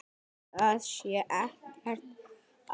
Það sé ekkert að.